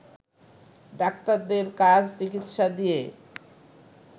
ডাক্তারদের কাজ চিকিৎসা দিয়ে